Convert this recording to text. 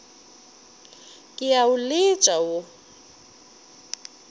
ke a o letša wo